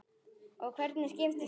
Og hvernig skiptist þetta?